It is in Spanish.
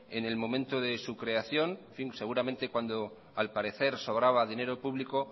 en el momento de su creación en fin seguramente cuando al parecer sobraba dinero público